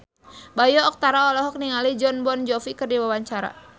Bayu Octara olohok ningali Jon Bon Jovi keur diwawancara